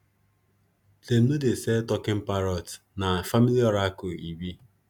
them no dey sell taking parrot na family oracle e be